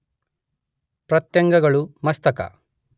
ಪ್ರತ್ಯಂಗಗಳು, ಮಸ್ತಕ